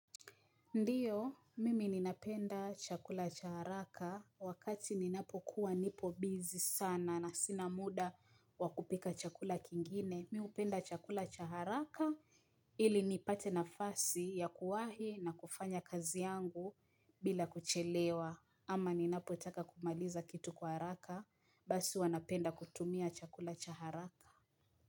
Ndio, mimi ninapenda chakula cha haraka wakati ninapo kuwa nipo busy sana na sina muda wakupika chakula kingine. Mi hupenda chakula cha haraka ili nipate nafasi ya kuwahi na kufanya kazi yangu bila kuchelewa. Ama ninapo itaka kumaliza kitu kwa haraka basi huwa napenda kutumia chakula cha haraka.